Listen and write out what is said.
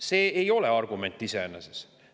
See ei ole argument iseeneses.